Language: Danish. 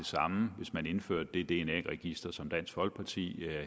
samme hvis man indførte det dna register som dansk folkeparti